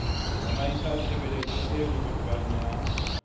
tsamaisa tshebetso e lohothwang ya